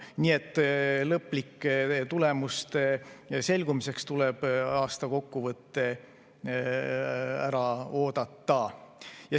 Nii et lõplike tulemuste selgumiseks tuleb aastakokkuvõte ära oodata.